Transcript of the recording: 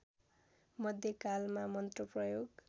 मध्य कालमा मन्त्र प्रयोग